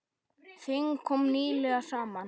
Þing kom nýlega saman.